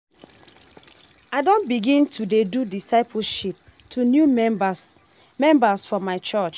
I don begin to dey do discipleship to new members members for my church.